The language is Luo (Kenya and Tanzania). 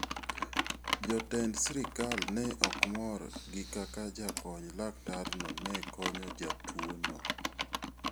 Jotend sirkal ne ok mor gi kaka jakony laktarno ne konyo jatuono.